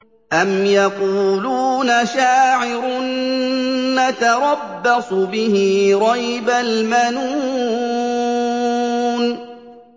أَمْ يَقُولُونَ شَاعِرٌ نَّتَرَبَّصُ بِهِ رَيْبَ الْمَنُونِ